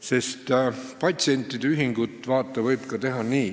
Sest patsientide ühingut, vaata, võib teha ka nii ...